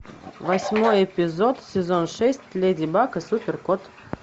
восьмой эпизод сезон шесть леди баг и супер кот